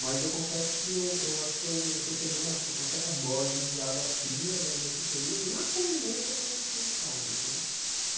Mas eu confesso que eu eu acho que eu recebi uma ce uma certa dose de água fria né nesse período, na convivência com os com os pares né.